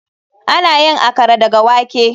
Ana yin Akara daga wake.